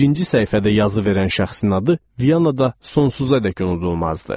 Birinci səhifədə yazı verən şəxsin adı Vyanada sonsuzadək unudulmazdı.